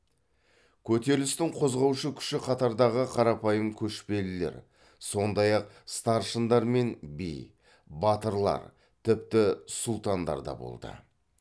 көтерілістің қозғаушы күші қатардағы қарапайым көшпелілер сондай ақ старшындар мен би батырлар тіпті сұлтандар да болды